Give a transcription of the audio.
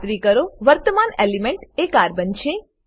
ખાતરી કરો વર્તમાન એલિમેન્ટ એ કાર્બન છે